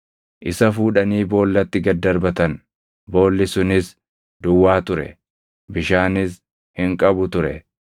isa fuudhanii boollatti gad darbatan. Boolli sunis duwwaa ture; bishaanis hin qabu ture.